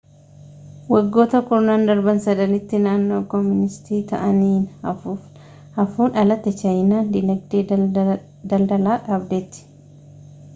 waggoota kurnan darbaan sadanitti naannoo kooministii ta'anii haafuun alatti chaayinaan diinagdee daldalaa dhaabdeetti